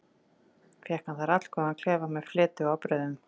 Fékk hann þar allgóðan klefa með fleti og ábreiðum.